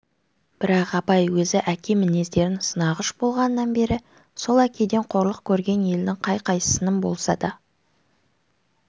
бірақ абай өзі әке мінездерін сынағыш болғаннан бері сол әкеден қорлық көрген елдің қай-қайсысының болса да